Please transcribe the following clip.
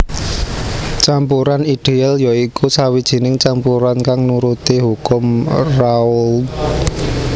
Campuran ideal ya iku sawijining campuran kang nuruti hukum Raoult